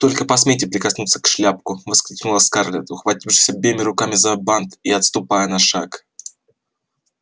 только посмейте прикоснуться к шляпку воскликнула скарлетт ухватившись обеими руками за бант и отступая на шаг